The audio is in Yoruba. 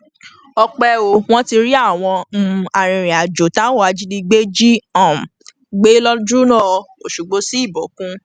ọpẹ o wọn ti rí àwọn um arìnrìnàjò táwọn ajìnígbé jí um gbé lójúọnà ọṣọgbó sí ìbòkun